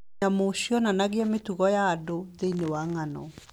Nyamũ cionanagia mĩtugo ya andũ thĩinĩ wa ng'ano.